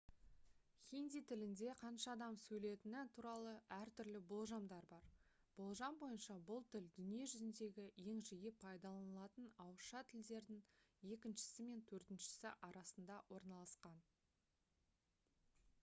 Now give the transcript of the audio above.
хинди тілінде қанша адам сөйлетіні туралы әртүрлі болжамдар бар болжам бойынша бұл тіл дүние жүзіндегі ең жиі пайдаланылатын ауызша тілдердің екіншісі мен төртіншісі арасында орналасқан